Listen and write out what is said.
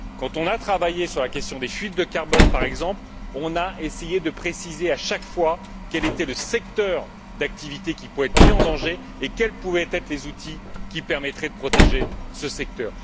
Quand on a travaillé sur la question des fuites de carbone, par exemple, on a essayé de préciser à chaque fois quel était le secteur d'activité qui pouvait être mis en danger et quels pouvaient être les outils qui permettraient de protéger ce secteur.